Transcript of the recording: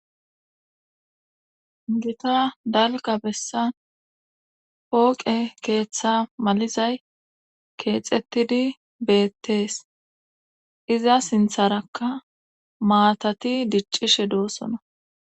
gita dalga bessan pooqe keeththa malizay keexettidi beettees iza sintharakka maatati diccishe doossona